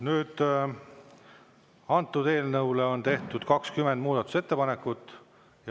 Nüüd, antud eelnõule on tehtud 20 muudatusettepanekut.